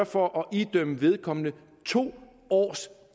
for at idømme vedkommende to års